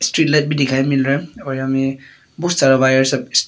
भी दिखाए मिल रहा है और यहाँ मे बहुत सारा वायर सब--